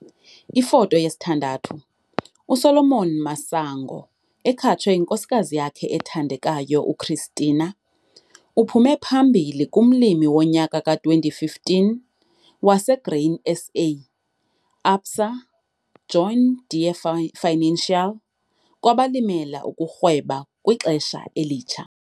Ifoto 6 - USolomon Masango, ekhatshwe yinkosikazi yakhe ethandekayo, uChristina, uphume phambili kuMlimi woNyaka ka-2015 waseGrain SA - ABSA - John Deere Financial kwabaLimela ukuRhweba kwiXesha eLitsha.